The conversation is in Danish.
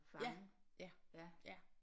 Ja ja ja